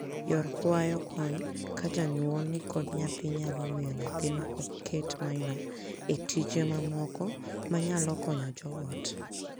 Yor kwayo kony ka janyuol ni kod nyathi nyalo miyo nyathino ok ket maino e tije mamoko manyalo konyo joot.